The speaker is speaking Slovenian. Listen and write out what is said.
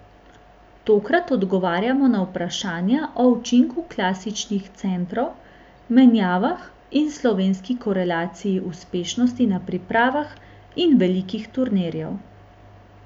Tokrat odgovarjamo na vprašanja o učinku klasičnih centrov, menjavah in slovenski korelaciji uspešnosti na pripravah in velikih turnirjev.